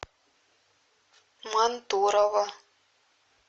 мантурово